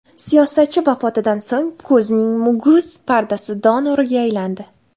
Siyosatchi vafotidan so‘ng ko‘zning muguz pardasi donoriga aylandi .